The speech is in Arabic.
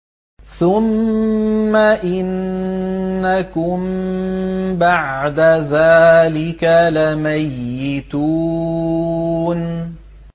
ثُمَّ إِنَّكُم بَعْدَ ذَٰلِكَ لَمَيِّتُونَ